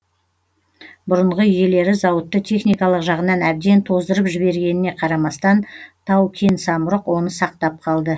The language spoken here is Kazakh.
бұрынғы иелері зауытты техникалық жағынан әбден тоздырып жібергеніне қарамастан тау кен самұрық оны сақтап қалды